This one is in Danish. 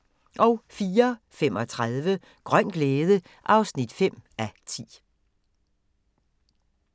04:35: Grøn glæde (5:10)